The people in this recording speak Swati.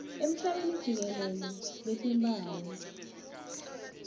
emhlabeni jikelele batimphawu